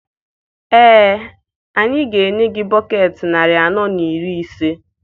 Ee, anyị ga-enye gị bọketị narị anọ na iri asaa.